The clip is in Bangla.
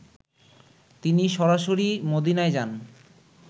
তিনি সরাসরি মদিনায় যান